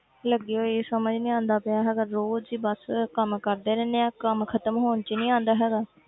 ਲੱਗੀ ਹੋਈ ਸਮਝ ਨੀ ਆਉਂਦਾ ਪਿਆ ਹੈਗਾ ਰੋਜ਼ ਹੀ ਬਸ ਕੰਮ ਕਰਦੇ ਰਹਿੰਦੇ ਹਾਂ ਕੰਮ ਖ਼ਤਮ ਹੋਣ 'ਚ ਹੀ ਨੀ ਆਉਂਦਾ ਹੈਗਾ।